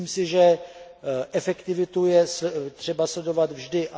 Myslím si, že efektivitu je třeba sledovat vždy.